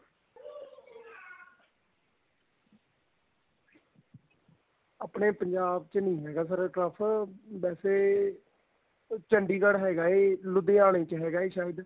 ਆਪਣੇ ਪੰਜਾਬ ਚ ਨੀ ਹੈਗਾ sir turf ਵੈਸੇ ਚੰਡੀਗੜ੍ਹ ਹੈਗਾ ਏ ਲੁਧਿਆਣੇ ਚ ਹੈਗਾ ਏ ਸਾਇਦ